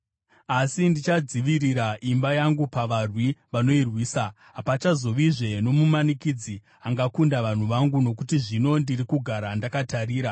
Asi ndichadzivirira imba yangu pavarwi vanoirwisa. Hapachazovazve nomumanikidzi angakunda vanhu vangu, nokuti zvino ndiri kugara ndakatarira.